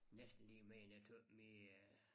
Næsten lige mere end jeg tøt min øh